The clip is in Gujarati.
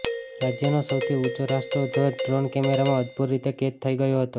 રાજ્યનો સૌથી ઉંચો રાષ્ટ્રધ્વજ ડ્રોન કેમેરામાં અદભૂત રીતે કેદ થઇ ગયો હતો